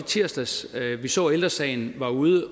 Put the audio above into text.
tirsdags vi så at ældre sagen var ude at